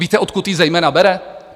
Víte, odkud ji zejména bere?